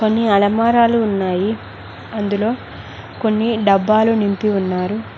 కొన్ని అలమారాలు ఉన్నాయి అందులో కొన్ని డబ్బాలు నింపి ఉన్నారు.